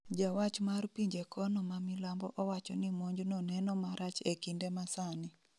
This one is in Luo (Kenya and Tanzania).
Jawach mar pinje kono ma milambo owacho ni monj no neno marach e kinde masani